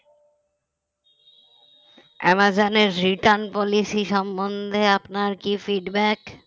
অ্যামাজনে return policy সম্বন্ধে আপনার কি feedback